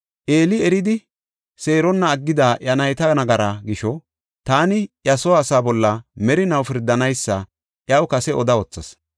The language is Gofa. Eeli eridi seeronna aggida iya nayta nagaraa gisho, taani iya soo asaa bolla merinaw pirdanaysa iyaw kase oda wothas.